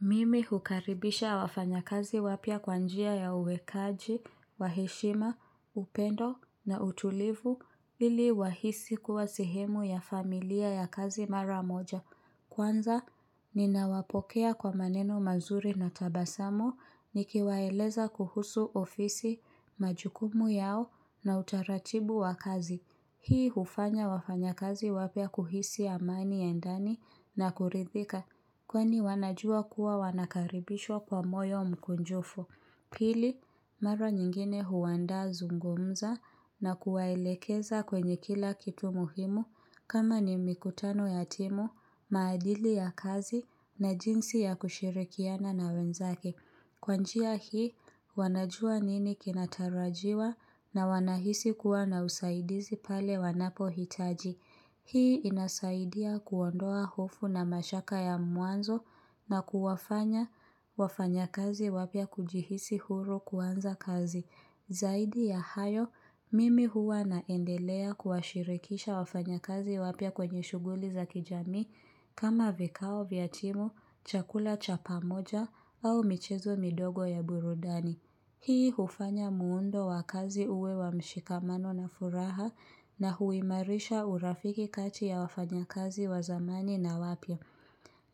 Mimi hukaribisha wafanya kazi wapya kwa njia ya uwekaji, kwa heshima, upendo na utulivu, ili wahisi kuwa sehemu ya familia ya kazi mara moja. Kwanza, ninawapokea kwa maneno mazuri na tabasamu, nikiwaeleza kuhusu ofisi majukumu yao na utaratibu wa kazi. Hii hufanya wafanya kazi wapya kuhisi amani ya ndani na kuridhika, kwani wanajua kuwa wanakaribishwa kwa moyo mkunjufu pili, mara nyingine huandaa zungumza na kuwaelekeza kwenye kila kitu muhimu kama ni mikutano ya timu, maadili ya kazi na jinsi ya kushirikiana na wenzake. Kwa njia hii wanajua nini kinatarajiwa na wanahisi kuwa na usaidizi pale wanapohitaji. Hii inasaidia kuondoa hofu na mashaka ya mwanzo na kuwafanya wafanya kazi wapya kujihisi huru kuanza kazi. Zaidi ya hayo, mimi huwa naendelea kuashirikisha wafanya kazi wapya kwenye shughuli za kijamii kama vikao, vya timu, chakula cha pamoja au michezo midogo ya burudani. Hii hufanya muundo wakazi huwe wa mshikamano na furaha na huimarisha urafiki kati ya wafanya kazi wazamani na wapya.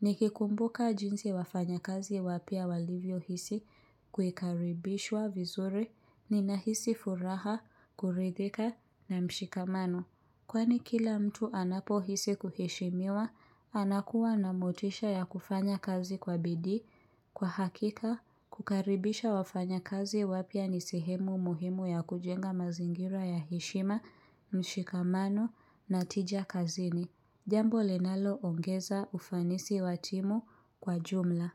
Nikikumbuka jinsi wafanya kazi wapya walivyohisi kukaribishwa vizuri ni nahisi furaha, kuridhika na mshikamano. Kwani kila mtu anapo hisi kuheshimiwa, anakuwa na motisha ya kufanya kazi kwa bidii. Kwa hakika, kukaribisha wafanya kazi wapya ni sehemu muhimu ya kujenga mazingira ya heshima, mshikamano na tija kazini. Jambo linaloongeza ufanisi wa timu kwa jumla.